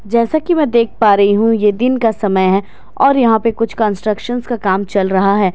जैसे कि मैं देख पा रही हूं ये दिन का समय और यहां पे कुछ कंस्ट्रक्शन का काम चल रहा है जैसे ।